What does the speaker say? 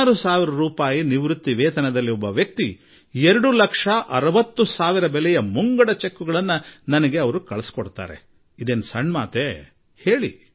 16 ಸಾವಿರ ರೂಪಾಯಿ ಪಿಂಚಣಿ ಪಡೆಯುವ ವ್ಯಕ್ತಿ 2 ಲಕ್ಷ 60 ಸಾವಿರದ ಮುಂಗಡ ಚೆಕ್ ನನಗೆ ಕಳುಹಿಸುವುದಾದರೆ ಇದೇನು ಸಣ್ಣ ಸಂಗತಿಯಲ್ಲ